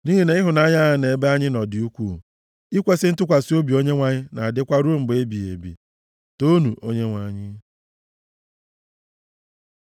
Nʼihi na ịhụnanya ya nʼebe anyị nọ dị ukwuu. Ikwesi ntụkwasị obi Onyenwe anyị na-adịkwa ruo mgbe ebighị ebi. Toonu Onyenwe anyị!